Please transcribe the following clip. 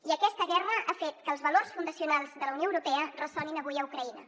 i aquesta guerra ha fet que els valors fundacionals de la unió europea ressonin avui a ucraïna